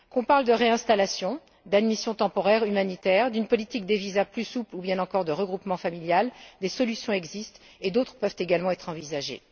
Que nous parlions de réinstallation, d'admission temporaire humanitaire, d'une politique de visas plus souple ou bien encore de regroupement familial, des solutions existent et d'autres peuvent également être envisagées.